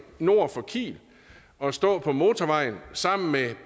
nord for kiel at stå på motorvejen sammen med